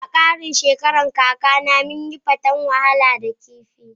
Da karin shekaran kakana munyi fatan Walaha da kifi.